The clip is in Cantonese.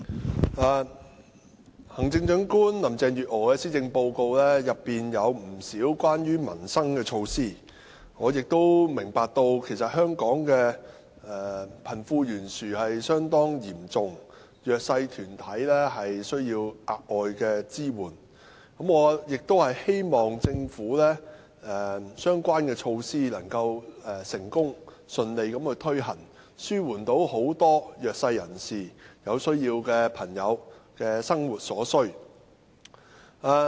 主席，行政長官林鄭月娥的施政報告裏有不少關於民生的措施，我明白香港的貧富懸殊情況相當嚴重，弱勢社群需要額外支援，我希望政府的相關措施能夠成功順利推行，紓緩弱勢人士、有需要人士的生活所需。